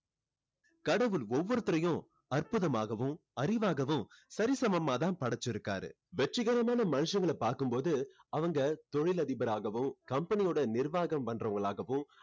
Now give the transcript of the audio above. கடவுள் ஒவ்வொருத்தரையும் அற்புதமாகவும் அறிவாகவும் சரி சமமா தான் படைச்சு இருக்காரு வெற்றிகரமான மனுஷங்களை பார்க்கும் போது அவங்க தொழிலதிபர் ஆகவும் company ஓட நிர்வாகம் பண்ணுறவங்களாகவும்